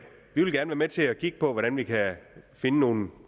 vi vil gerne være med til at kigge på hvordan vi kan finde nogle